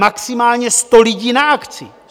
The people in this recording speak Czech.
Maximálně 100 lidí na akci.